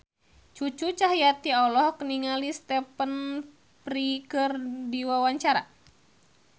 Cucu Cahyati olohok ningali Stephen Fry keur diwawancara